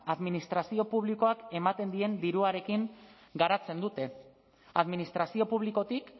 administrazio publikoak ematen dien diruarekin garatzen dute administrazio publikotik